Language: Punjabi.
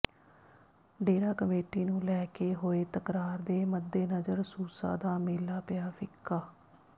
ਡੇਰਾ ਕਮੇਟੀ ਨੂੰ ਲੈ ਕੇ ਹੋਏ ਤਕਰਾਰ ਦੇ ਮੱਦੇਨਜ਼ਰ ਸੂਸਾਂ ਦਾ ਮੇਲਾ ਪਿਆ ਫਿੱਕਾ